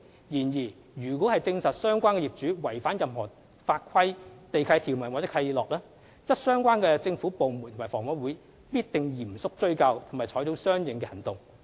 然而，若證實相關業主違反任何法規、地契條款或契諾，則相關政府部門及房委會必定嚴肅追究及採取相應行動。